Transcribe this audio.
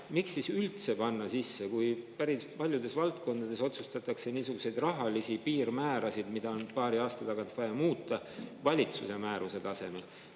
Miks siis panna see siia sisse, kui päris paljudes valdkondades sätestatakse niisugused rahalised piirmäärad, mida on paari aasta tagant vaja muuta, valitsuse määruses?